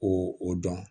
O o dɔn